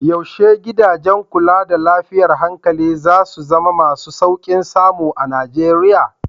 Yaushe gidajen kula da lafiyar hankali za su zama masu sauƙin samu a Nijeriya?